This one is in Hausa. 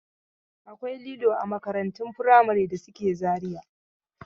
Akwai lilo a makarantun firamare da suke Zariya.